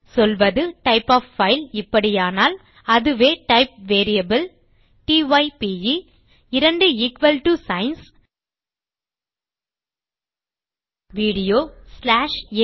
சொல்வது type of file இப்படியானால் அதுவே type variable t y p e 2 equal to signs equals video dot AVI